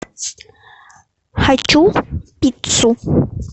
хочу пиццу